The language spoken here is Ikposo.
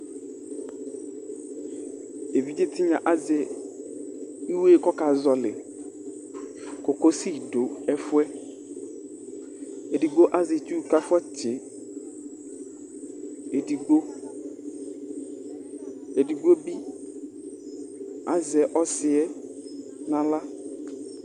évidzé tinya azɛ iwé kɔka zɔli koko si du ɛfuɛ édigbo azɛ itsu ka fɔ tsi édigbo édigbo bi azɛ ɔsiɛ na awlă